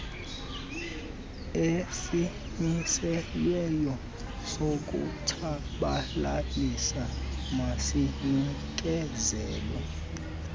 esimiselweyo sokutshabalalisa masinikezelwe